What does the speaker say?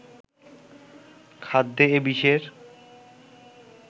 খাদ্যে এ বিষের